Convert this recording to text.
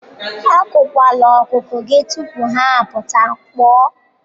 Agụkwala ọkụkọ gị tupu ha apụta, kpoo.